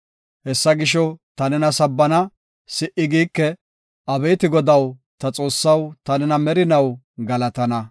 Hessa gisho, ta nena sabbana; si77i giike. Abeeti Godaw, ta Xoossaw, ta nena merinaw galatana.